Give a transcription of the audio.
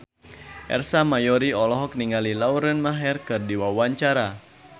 Ersa Mayori olohok ningali Lauren Maher keur diwawancara